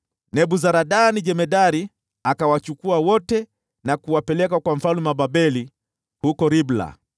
Nebuzaradani jemadari akawachukua hao wote na kuwapeleka kwa mfalme wa Babeli huko Ribla.